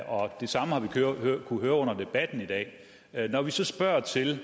og det samme har vi kunnet høre under debatten i dag når vi så spørger til